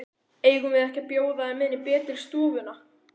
Eigum við ekki að bjóða þeim inn í betri stofuna?